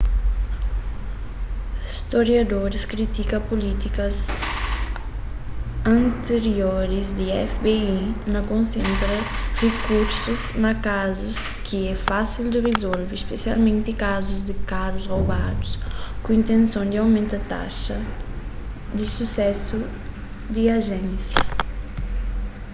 storiadoris kritika pulítikas antirioris di fbi na konsentra rikursus na kazus ki é fásil di rizolve spesialmenti kazus di karus robadu ku intenson di omenta taxa di susésu di ajénsia